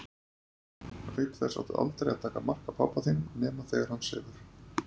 Auk þess áttu aldrei að taka mark á pabba þínum nema þegar hann sefur.